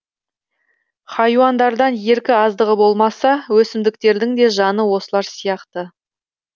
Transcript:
хайуандардан еркі аздығы болмаса өсімдіктердің де жаны осылар сияқты